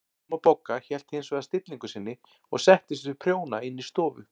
Amma Bogga hélt hins vegar stillingu sinni og settist við prjóna inn í stofu.